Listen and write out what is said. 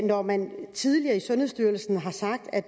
når man tidligere i sundhedsstyrelsen har sagt at